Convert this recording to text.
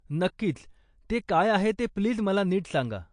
नक्कीच, ते काय आहे ते प्लीज मला नीट सांगा.